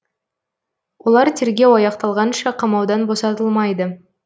олар тергеу аяқталғанша қамаудан босатылмайды